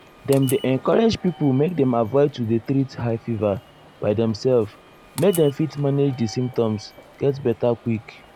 dem um dey encourage pipo make dem avoid to dey treat high fever by demself make dem fit manage di symptoms get beta quick.